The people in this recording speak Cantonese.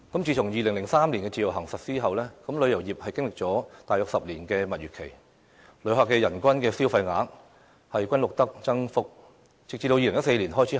自從2003年實施自由行後，旅遊業經歷了大約10年的蜜月期，每年旅客的人均消費額均錄得增幅，直至2014年開始下跌。